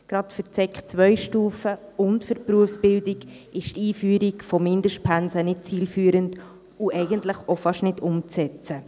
Gerade für die Sekundarstufe II und für die Berufsbildung ist die Einführung von Mindestpensen nicht zielführend und eigentlich auch fast nicht umzusetzen.